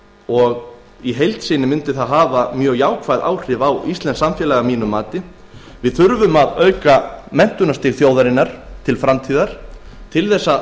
og mun í heild hafa mjög jákvæð áhrif á íslenskt samfélag við þurfum að auka menntunarstig þjóðarinnar til framtíðar til þess að